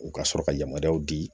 U ka sɔrɔ ka yamaruyaw di